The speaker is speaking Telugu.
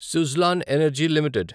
Suzlon energy limited